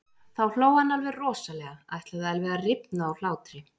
Þá hló hann alveg rosalega, ætlaði alveg að rifna úr hlátri.